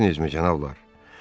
Bilirsinizmi, cənablar?